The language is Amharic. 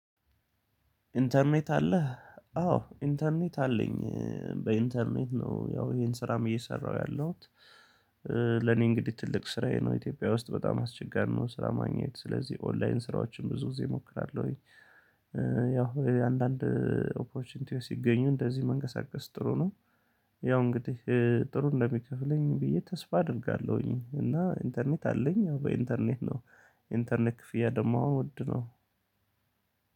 ኢንተርኔት አለህ አዎ ኢንተርኔት አለኝ በኢንተርኔት ነው ያው ይሄን ስራም እየሰራሁ ያለሁት። ለኔ እንግዲህ ትልቅ ስራዬ ነው ኢትዮጵያ ውስጥ በጣም አስቸጋሪ ነው። ስራ ማግኘት ስለዚህ ኦንላይን ስራዎችን ብዙ ጊዜ እሞክራለሁኝ። ያው የአንዳንድ ኦፖርቹኒቲዎች ሲገኙ እንደዚህ መንቀሳቀስ ጥሩ ነው። ያው እንግዲህ ጥሩ እንደሚከፍለኝ ብዬ ተስፋ አደርጋለሁኝ። እና ኢንተርኔት አለኝ ያው በኢንተርኔት ነው። ኢንተርኔት ክፍያ ደግሞ ውድ ነው።